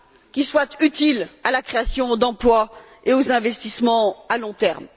qui soit utile à la création d'emplois et aux investissements à long terme.